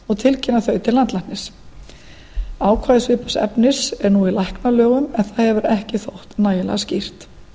og tilkynna þau til landlæknis ákvæði svipaðs efnis er nú í læknalögum en það hefur ekki þótt nægilega skýrt